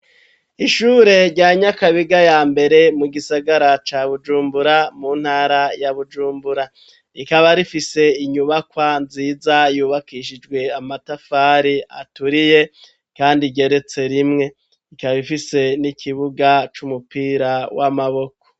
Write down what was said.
ishure rya Nyakabiga ya mbere mu gisagara ca Bujumbura mu ntara ya Bujumbura, rikaba rifise inyubakwa nziza yubakishijwe amatafari aturiye kandi igeretse rimwe, ikaba ifise n'ikibuga c'umupira w'amaboko.